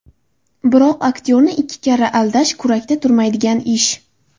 Biroq aktyorni ikki karra aldash kurakda turmaydigan ish.